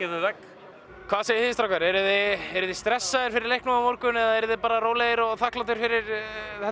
við vegg hvað segið þið strákar eruð þið stressaðir fyrir leiknum á morgun eða bara rólegir og þakklátir fyrir þetta